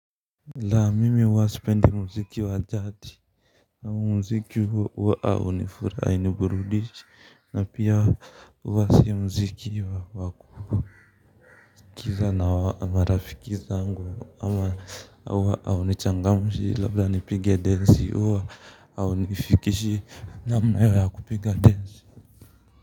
Laa mimi huwa sipendi muziki wa jadi huu muziki huwa haunifurahishi hainiburudishi na pia huwa si mziki wa kusikiliza na marafiki zangu ama huwa haunichangamshi labda nipige densi au nifikishie namna ya kupiga densi.